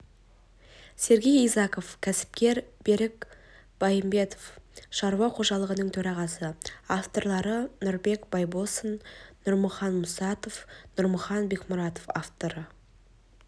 сергей изаков кәсіпкер берік байымбетов шаруа қожалығының төрағасы авторлары нұрбек байбосын нұрмахан мұсатов нұрмахан бекмұратов авторы